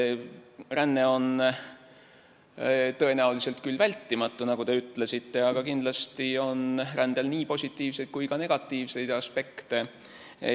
Ränne on tõenäoliselt küll vältimatu, nagu te ütlesite, aga kindlasti on rändel nii positiivseid kui ka negatiivseid aspekte.